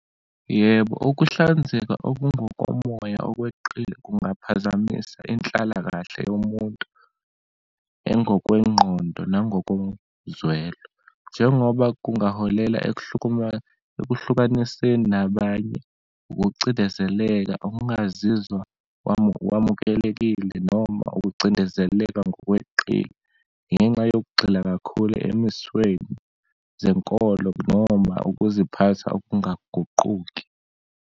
Yebo, ukuhlanzeka okungokomoya okweqile kungaphazamisa inhlalakahle yomuntu, engokwengqondo nangokozwelo. Njengoba kungaholela ekuhlukaniseni nabanye, ukucindezeleka, ungazizwa wamukelekile, noma ukucindezeleka ngokweqile ngenxa yokugxila kakhulu emisweni zenkolo noma ukuziphatha okungaguquki.